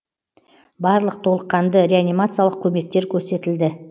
барлық толыққанды реанимациялық көмектер көрсетілді